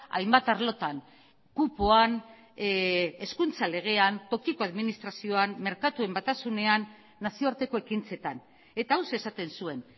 hainbat arlotan kupoan hezkuntza legean tokiko administrazioan merkatuen batasunean nazioarteko ekintzetan eta hauxe esaten zuen